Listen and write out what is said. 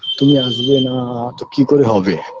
তুমি আসবে না তো কি করে হবে